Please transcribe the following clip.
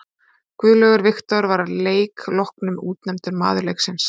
Guðlaugur Victor var að leik loknum útnefndur maður leiksins.